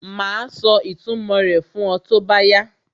Màá sọ ìtumò rẹ̀ fún ọ tó bá yá